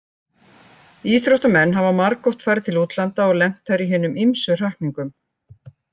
Íþróttamenn hafa margoft farið til útlanda og lent þar í hinum ýmsu hrakningum.